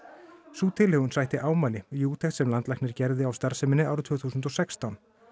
sú tilhögun sætti ámæli í úttekt sem landlæknir gerði á starfseminni árið tvö þúsund og sextán